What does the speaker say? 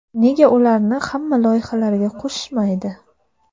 Nega ularni ham loyihalarga qo‘shishmaydi?